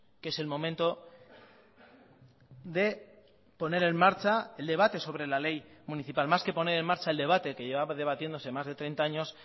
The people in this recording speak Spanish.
que es el momento de poner en marcha el debate sobre la ley municipal más que poner en marcha el debate que lleva debatiéndose más de treinta años